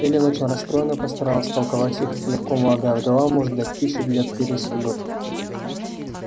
эллин очень расстроенная постаралась втолковать ей как легко молодая вдова может дать пищу для пересудов